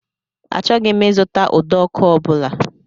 Achọghị m ịzụta ụdọọkụ ọ bụla.